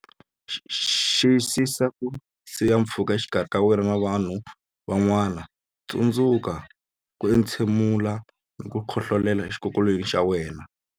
Xiyisisa ku siya pfhuka exikarhi ka wena na vanhu van'wana Tsundzuka ku entshemula na ku khohlolela exikokolweni xa wena.